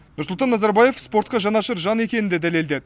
нұрсұлтан назарбаев спортқа жанашыр жан екенін де дәлелдеді